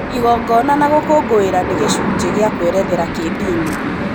igongona na gũkũngũira nĩ gĩcunjĩ kĩa kwerethera kĩndini